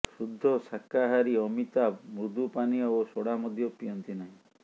ଶୁଦ୍ଧ ଶାକାହାରୀ ଅମିତାଭ ମୃଦୁପାନୀୟ ଓ ସୋଡ଼ା ମଧ୍ୟ ପିଅନ୍ତି ନାହିଁ